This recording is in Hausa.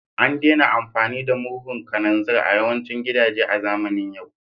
An daina amfani da murhun kananzir a yawancin gidaje a zamanin yau